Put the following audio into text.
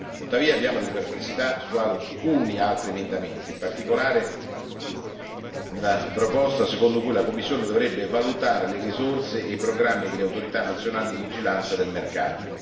Nutriamo tuttavia alcune perplessità su taluni altri emendamenti, in particolare la proposta secondo cui la Commissione dovrebbe valutare le risorse e i programmi delle autorità nazionali di vigilanza del mercato.